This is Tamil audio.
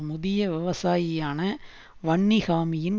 முதிய விவசாயியான வன்னிஹாமியின்